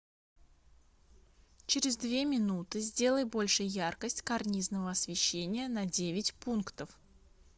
через две минуты сделай больше яркость карнизного освещения на девять пунктов